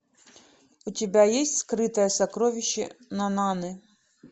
у тебя есть скрытое сокровище нананы